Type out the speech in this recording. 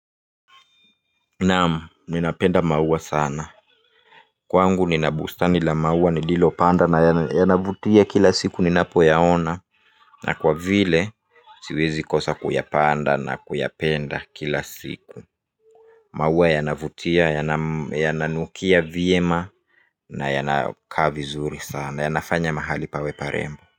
Naam ninapenda maua sana. Kwangu ninabustani la maua nililo panda na yana, yanavutia kila siku ninapo yaona. Na kwa vile siwezi kosa kuyapanda na kuyapenda kila siku. Maua yanavutia yananukia vyema na yanakaa vizuri sana yanafanya mahali pawe parembo.